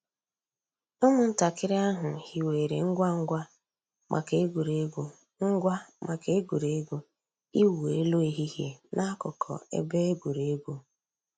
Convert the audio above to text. Ụ́mụ̀ntàkìrì àhụ̀ hìwèrè ngwá ngwá mǎká ègwè́régwụ̀ ngwá mǎká ègwè́régwụ̀ ị̀wụ̀ èlù èhìhìè n'àkùkò èbè ègwè́régwụ̀.